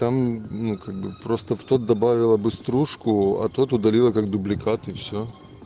там ну как бы просто в тот добавила бы стружку а тот удалила как дубликат и все